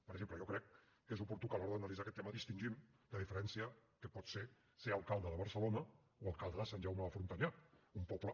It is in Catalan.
per exemple jo crec que és oportú que a l’hora d’analitzar aquest tema distingim la diferència que pot ser ser alcalde de barcelona o alcalde de sant jaume de frontanyà un poble